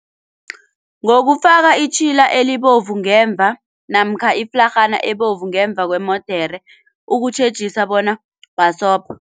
Ngokufaka itjhila elibovu ngemva namkha iflarhana ebovu ngemva kwemodere ukutjhejisa bona bhasobha.